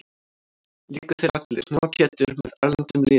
Léku þeir allir, nema Pétur, með erlendum liðum.